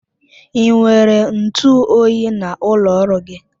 Ị nwere ntụ oyi n'ụlọ ọrụ gị?